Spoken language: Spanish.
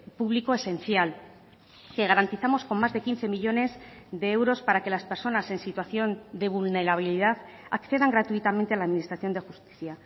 público esencial que garantizamos con más de quince millónes de euros para que las personas en situación de vulnerabilidad accedan gratuitamente a la administración de justicia